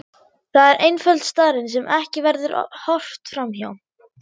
Það er einföld staðreynd sem ekki verður horft fram hjá.